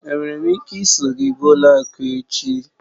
Enwere m ike iso gị gaa ụlọ akụ echi?